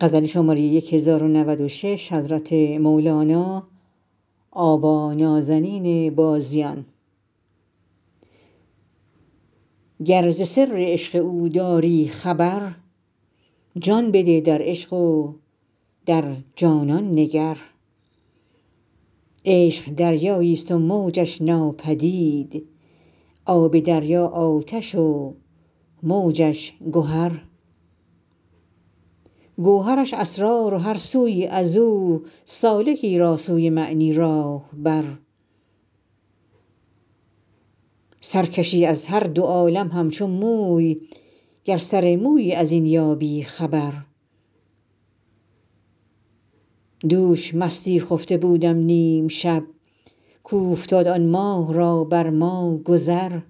گر ز سر عشق او داری خبر جان بده در عشق و در جانان نگر عشق دریاییست و موجش ناپدید آب دریا آتش و موجش گهر گوهرش اسرار و هر سویی از او سالکی را سوی معنی راه بر سر کشی از هر دو عالم همچو موی گر سر مویی از این یابی خبر دوش مستی خفته بودم نیم شب کاوفتاد آن ماه را بر ما گذر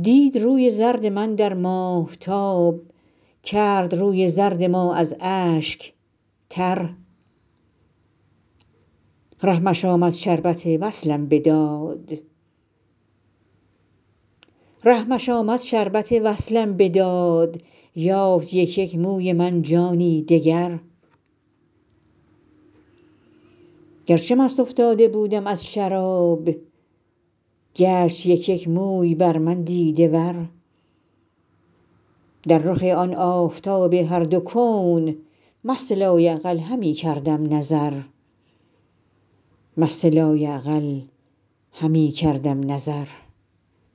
دید روی زرد من در ماهتاب کرد روی زرد ما از اشک تر رحمش آمد شربت وصلم بداد یافت یک یک موی من جانی دگر گرچه مست افتاده بودم از شراب گشت یک یک موی بر من دیده ور در رخ آن آفتاب هر دو کون مست لایعقل همی کردم نظر